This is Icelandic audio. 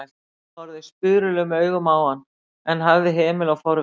Ella horfði spurulum augum á hann en hafði hemil á forvitni sinni.